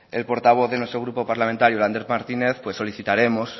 el portavoz de nuestro grupo parlamentario lander martínez pues solicitaremos